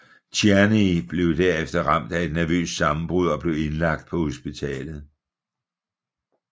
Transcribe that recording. Tierney blev derefter ramt af et nervøst sammenbrud og blev indlagt på hospitalet